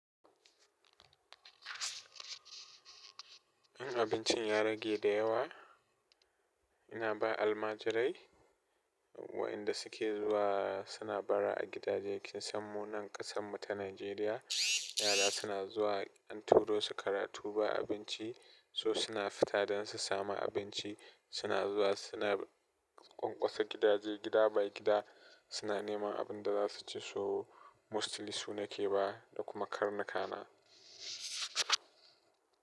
In abincin ya rage da yawa, ina ba almajirai wayanda suke zuwa suna bara a gidaje. Kin san mu nan ƙasan mu ta Najeriya, yara suna zuwa an turo su karatu ba abinci, so suna fita don su sami abinci. Suna zuwa suna ƙwanƙwasa gidaje gida by gida suna neman abin da za su ci so mostly su nake ba da kuma karnuka na.